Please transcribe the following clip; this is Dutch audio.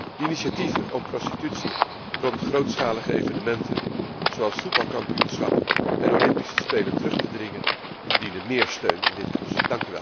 De initiatieven om prostitutie rond grootschalige evenementen, zoals voetbalkampioenschappen en Olympische Spelen, terug te dringen verdienen meer steun in dit Parlement.